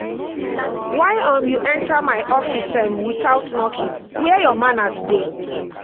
why um you enter my office um without knocking? where your manners dey?